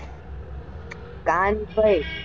કાન ભાઈ,